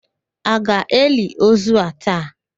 A ga-eli ozu a taa?